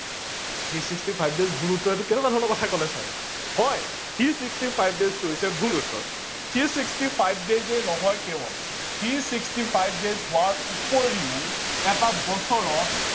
three sixty five days ভূল উত্তৰ এইটো কেনেকোৱা ধৰনৰ কথা কলে ছাৰ হয় three sixty five days টো হৈছে ভূল উত্তৰ three sixty five days এ নহয় কেৱল three sixty five days হোৱাৰ উপৰিও এটা বছৰত